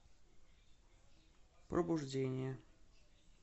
пробуждение